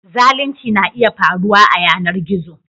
Zalunci na iya faruwa a yanar gizo